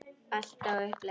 Allt er á uppleið.